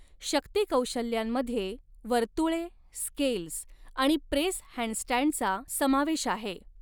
शक्ती कौशल्यांमध्ये वर्तुळे, स्केल्स आणि प्रेस हँडस्टँडचा समावेश आहे.